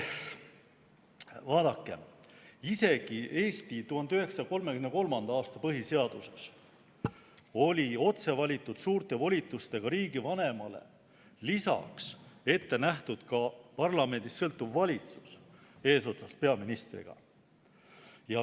Vaadake, isegi Eesti 1933. aasta põhiseaduses oli otse valitud suurte volitustega riigivanemale lisaks ette nähtud parlamendist sõltuv valitsus eesotsas peaministriga.